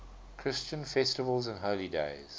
christian festivals and holy days